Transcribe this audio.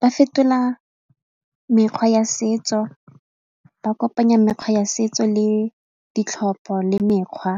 Ba fetola mekgwa ya setso ba kopanya mekgwa ya setso le ditlhopho le mekgwa